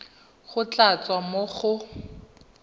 go tla tswa mo go